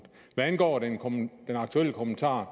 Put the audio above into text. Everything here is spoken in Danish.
hvad angår kommentaren